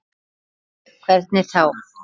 Sólveig: Hvernig þá?